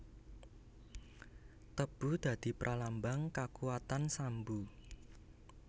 Tebu dadi pralambang Kakuwatan Sambu